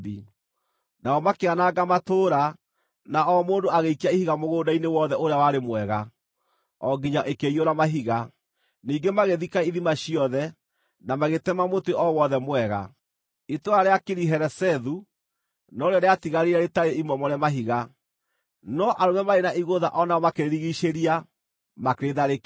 Nao makĩananga matũũra, na o mũndũ agĩikia ihiga mũgũnda-inĩ wothe ũrĩa warĩ mwega, o nginya ĩkĩiyũra mahiga. Ningĩ magĩthika ithima ciothe, na magĩtema mũtĩ o wothe mwega. Itũũra rĩa Kiriharesethu no rĩo rĩatigarire rĩtarĩ imomore mahiga, no arũme maarĩ na igũtha o narĩo makĩrĩrigiicĩria, makĩrĩtharĩkĩra.